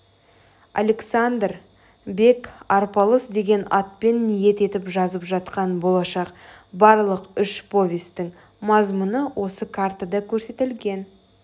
александр бек арпалыс деген атпен ниет етіп жазып жатқан болашақ барлық үш повестің мазмұны осы картада көрсетілген